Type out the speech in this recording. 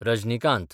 Rajinikanth